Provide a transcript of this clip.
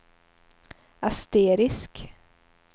asterisk